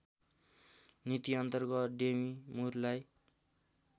नीतिअन्तर्गत डेमी मुरलाई